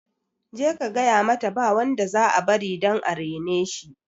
Je ka gayamata ba wanda za a bari dan areneshi